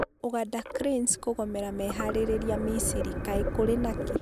Uganda Cranes kũgomera meharĩrĩria Misiri, kaĩ kũrĩ nakĩ?